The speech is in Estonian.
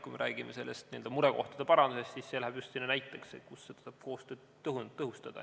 Kui me räägime murekohtade parandamisest, siis see läheb just selle näite alla, kus tuleb koostööd tõhustada.